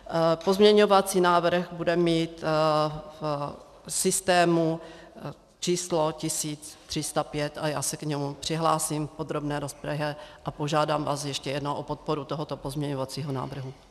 Pozměňovací návrh bude mít v systému číslo 1305 a já se k němu přihlásím v podrobné rozpravě a požádám vás ještě jednou o podporu tohoto pozměňovacího návrhu.